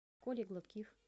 колей гладких